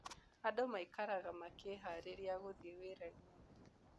Andũ maikaraga makĩĩhaarĩria gũthiĩ wĩra-inĩ.